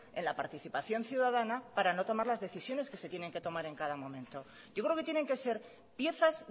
en la participación ciudadana para no tomar las decisiones que se tienen que tomar en cada momento yo creo que tienen que ser piezas